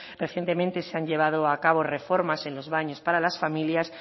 recientemente se han llevado a cabo reformas en los baños para las familias